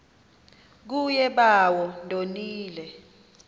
kuye bawo ndonile